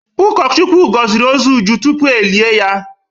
Ụkọchukwu gọziri ozu Uju tupu e lie ya.